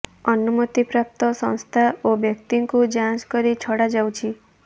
ଅନୁମତି ପ୍ରାପ୍ତ ସଂସ୍ଥା ଓ ବ୍ୟକ୍ତିଙ୍କୁ ଜାଞ୍ଚ କରି ଛଡ଼ା ଯାଉଛି